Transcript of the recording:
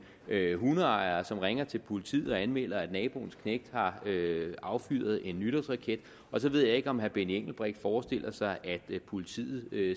hundeejere som ringer til politiet og anmelder at naboens knægt har affyret en nytårsraket og så ved jeg ikke om herre benny engelbrecht forestiller sig at politiet